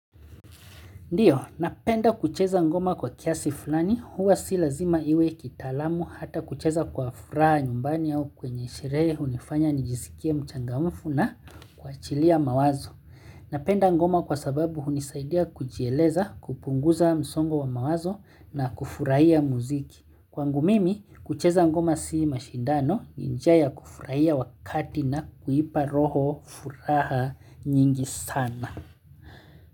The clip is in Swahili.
Ndiyo, napenda kucheza ngoma kwa kiasi fulani huwa si lazima iwe kitalamu hata kucheza kwa furaha nyumbani au kwenye sherehe unifanya nijisikie mchangamfu na kwa chilia mawazo. Napenda ngoma kwa sababu unisaidia kujieleza kupunguza msongo wa mawazo na kufurahia muziki. Kwangu mimi, kucheza ngoma si mashindano njia ya kufurahia wakati na kuipa roho furaha nyingi sana.